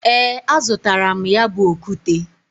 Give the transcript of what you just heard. E, azutaram ya bu okute.